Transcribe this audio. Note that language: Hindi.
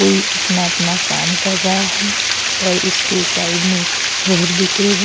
कोई अपना अपना काम कर रहा है और उसके साइड में घर दिख रहे हैं।